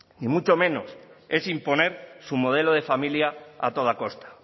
y mucho menos es imponer su modelo de familia a toda costa